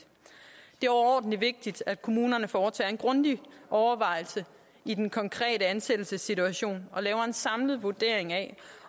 det er overordentlig vigtigt at kommunerne foretager en grundig overvejelse i den konkrete ansættelsessituation og laver en samlet vurdering af